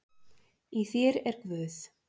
Í þér er Guð.